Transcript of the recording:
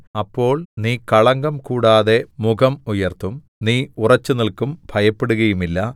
അപ്പോൾ നീ കളങ്കംകൂടാതെ മുഖം ഉയർത്തും നീ ഉറച്ചുനില്ക്കും ഭയപ്പെടുകയുമില്ല